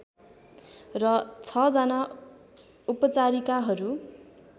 र छ जना उपचारिकाहरू